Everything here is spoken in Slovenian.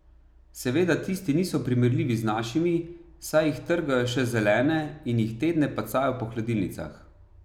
Seveda tisti niso primerljivi z našimi, saj jih trgajo še zelene in jih tedne pacajo po hladilnicah.